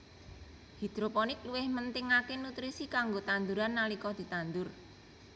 Hidroponik luwih mentingaké nutrisi kanggo tanduran nalika ditandur